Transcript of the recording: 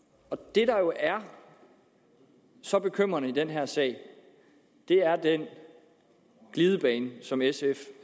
det der jo er så bekymrende i den her sag er den glidebane som sf